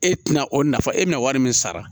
E tɛna o nafa e bɛna wari min sara